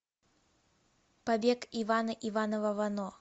побег ивана иванова вано